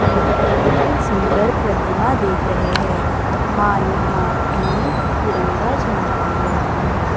एक बड़ी ही सुंदर प्रतिमा देख रहे हैं मां ने हाथ में तिरंगा झंडा लिया हुआ है।